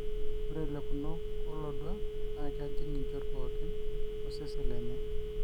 ore lekunok olodua na kejing njot pookin osesen lenye